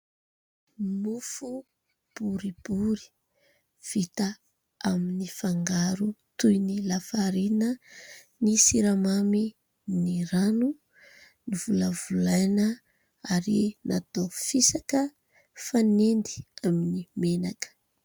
Mofo boribory vita amin'ny fangaro toy ny lafarina, ny siramamy, ny rano, novolavolaina ary natao fisaka fanendy amin'ny menaka.